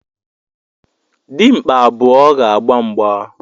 Dimkpa abụọ ga-agba mgba